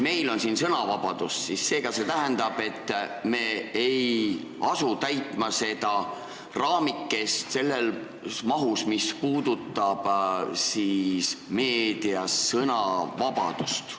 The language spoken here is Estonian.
Meil on siin sõnavabadus, mis tähendab, et me ei asu seda raamikest täitma selles mahus, mis puudutab meedia sõnavabadust.